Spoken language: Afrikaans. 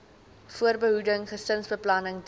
voorbehoeding gesinsbeplanning diens